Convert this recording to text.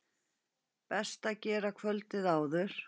Best að gera kvöldið áður.